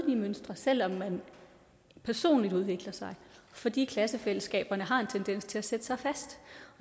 mønster selv om man personligt udvikler sig fordi klassefællesskaberne har en tendens til at sætte sig fast